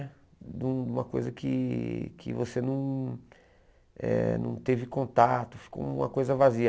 De uma coisa que que você não eh não teve contato, ficou uma coisa vazia.